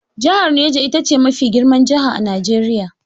Jahar Neja ita ce mafi girman jaha a Najeriya.